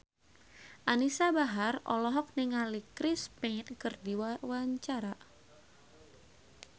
Anisa Bahar olohok ningali Chris Pane keur diwawancara